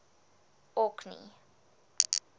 orkney